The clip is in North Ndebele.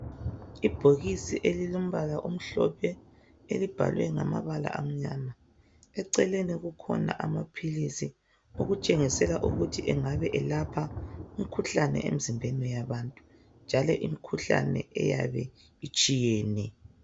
Ibhokisi elilombala omhlophe elibhalwe ngamabala amnyama. Eceleni kukhona amaphilisi okutshengisela ukuthi engabe elapha umkhuhlane emzimbeni yabantu njalo imikhuhlane eyabe itshiyene.